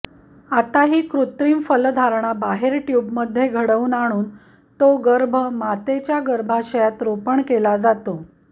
आता ही कृत्रिम फलधारणा बाहेर ट्युबमध्ये घडवून आणून तो गर्भ मातेच्या गर्भाशायत रोपण केला जातो